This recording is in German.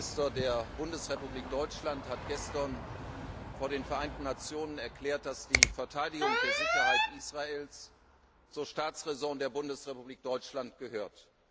Der Außenminister der Bundesrepublik Deutschland hat gestern vor den Vereinten Nationen erklärt, dass die Verteidigung der Sicherheit Israels zur Staatsraison der Bundesrepublik Deutschland gehört.